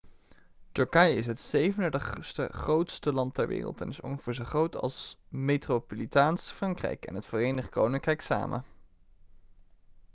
turkije is het 37e grootste land ter wereld en is ongeveer zo groot als metropolitaans frankrijk en het verenigd koninkrijk samen